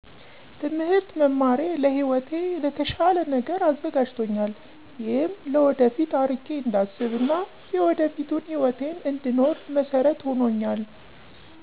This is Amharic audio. ትምህርት መማሬ ለህይወቴ ለተሻለ ነገር አዘጋጅቶኛል ይህም ለወደፊቱ አርቄ እንዳስብ እና የወደፊቱን ህይወቴን እነድኖር መሰረት ሁኖኛል።